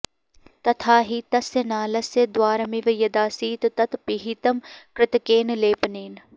तथा हि तस्य नालस्य द्वारमिव यदासीत् तत् पिहितम् कृतकेन लेपनेन